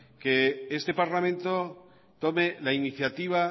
que este parlamento tome la iniciativa